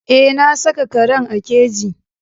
Eh na saka karen a keji.